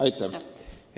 Aitäh!